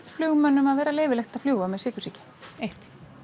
flugmönnum að vera leyfilegt að fljúga með sykursýki eins